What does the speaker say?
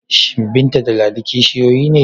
Shin Binta da Ladi kishiyoyi ne?